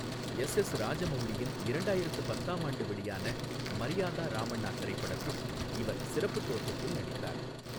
SS ராஜமவுலியின் இரண்டாயிரத்து பத்தாம் ஆண்டு வெளியான மரியாதா ராமண்ணா திரைப்படத்தில் இவர் சிறப்புத் தோற்றத்தில் நடித்தார்.